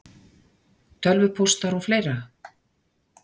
Tölvupóstar og fleira?